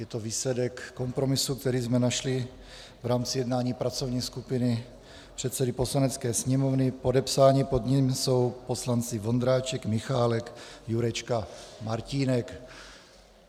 Je to výsledek kompromisu, který jsme našli v rámci jednání pracovní skupiny předsedy Poslanecké sněmovny, podepsáni pod ním jsou poslanci Vondráček, Michálek, Jurečka, Martínek.